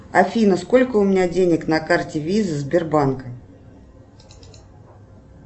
афина сколько у меня денег на карте виза сбербанка